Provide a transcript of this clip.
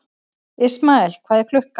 Ismael, hvað er klukkan?